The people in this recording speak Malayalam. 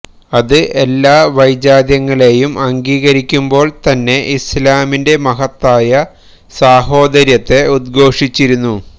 അത് എല്ലാ വൈജാത്യങ്ങളെയും അംഗീകരിക്കുമ്പോള് തന്നെ ഇസ്ലാമിന്റെ മഹത്തായ സാഹോദര്യത്തെ ഉദ്ഘോഷിച്ചിരുന്നു